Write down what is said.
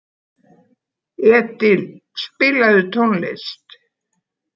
Edil, spilaðu tónlist.